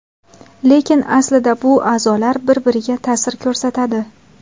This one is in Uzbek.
Lekin aslida bu a’zolar bir-biriga ta’sir ko‘rsatadi.